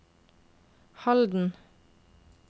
Halden